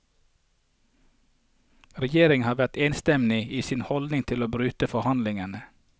Regjeringen har vært enstemmige i sin holdning til å bryte forhandlingene.